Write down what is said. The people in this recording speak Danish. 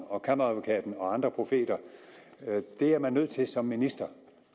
og kammeradvokaten og andre profeter det er man nødt til som minister